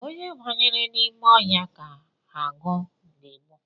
Onye banyere n’ime ọhịa ka agụ ga-egbu